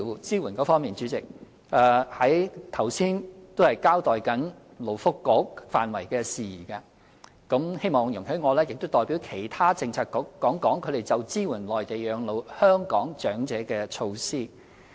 主席，在交代勞工及福利局範疇的事宜後，希望你容許我代表其他政策局，談談他們就支援在內地養老的香港長者的措施。